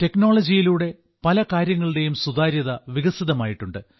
ടെക്നോളജിയിലൂടെ പലകാര്യങ്ങളുടെയും സുതാര്യത വികസിതമായിട്ടുണ്ട്